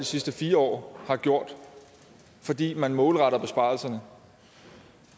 sidste fire år har gjort fordi man målretter besparelserne